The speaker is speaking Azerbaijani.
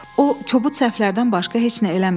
O kobud səhvlərdən başqa heç nə eləmir.